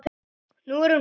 Nú er hún farin.